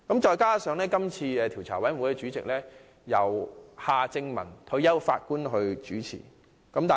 再者，這個調查委員會的主席由退休法官夏正民擔任。